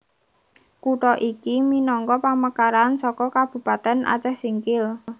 Kutha iki minangka pamekaran saka Kabupatèn Acèh Singkil